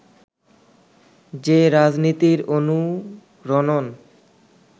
যে রাজনীতির অনুরণন